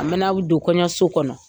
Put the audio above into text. An bɛna u don kɔɲɔso kɔnɔ